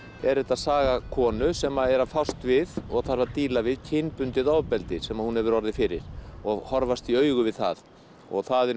er þetta saga konu sem er að fást við og þarf að díla við kynbundið ofbeldi sem hún hefur orðið fyrir og horfast í augu við það og það er